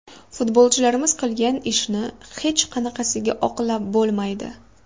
Futbolchilarimiz qilgan ishni hech qanaqasiga oqlab bo‘lmaydi.